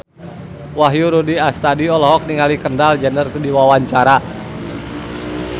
Wahyu Rudi Astadi olohok ningali Kendall Jenner keur diwawancara